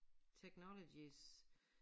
Technologies